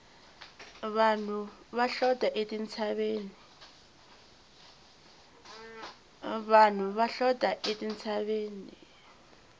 vanhu va hlota etintshaveni